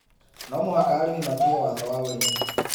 No mũhaka arĩmi matĩĩe watho wa ũrĩmi